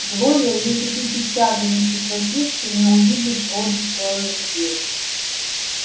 глория если ты сейчас же не прекратишь ты не увидишь робби целую неделю